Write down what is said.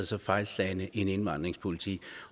så fejlslagen en indvandringspolitik